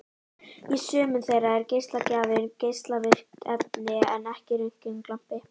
Í sumum þeirra er geislagjafinn geislavirkt efni en ekki röntgenlampi.